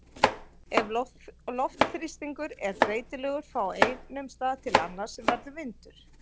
Ef loftþrýstingur er breytilegur frá einum stað til annars verður vindur.